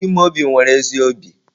Chimaobi nwere ezi obi.